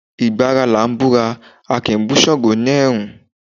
Ìgbà ara làá búra, a kì í bú Ṣàngó ni ẹ̀rùn